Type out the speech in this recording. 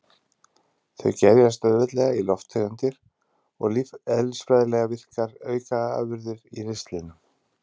Þau gerjast auðveldlega í lofttegundir og lífeðlisfræðilega virkar aukaafurðir í ristlinum.